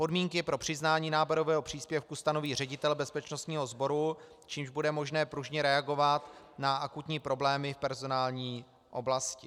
Podmínky pro přiznání náborového příspěvku stanoví ředitel bezpečnostního sboru, čímž bude možné pružně reagovat na akutní problémy v personální oblasti.